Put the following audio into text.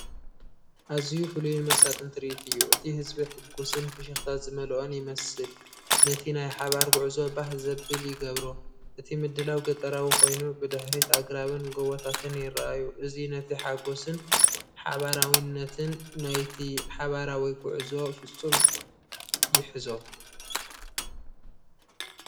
ኣዝዩ ፍሉይን መሳጥን ትርኢት እዩ! እቲ ህዝቢ ሕጉስን ፍሽኽታ ዝመልኦን ይመስል፣ ነቲ ናይ ሓባር ጉዕዞ ባህ ዘብል ይገብሮ። እቲ ምድላው ገጠራዊ ኮይኑ፡ ብድሕሪት ኣግራብን ጎቦታትን ይረኣዩ። እዚ ነቲ ሓጎስን ሓባራዊነትን ናይቲ ሓባራዊ ጉዕዞ ፍጹም ይሕዞ